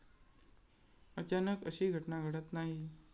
अचानक अशी घटना घडत नाही.